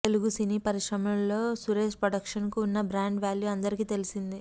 తెలుగు సినీ పరిశ్రమలో సురేష్ ప్రొడక్షన్స్కు ఉన్న బ్రాండ్ వాల్యూ అందరికీ తెలిసిందే